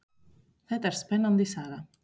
Þetta er spennandi saga.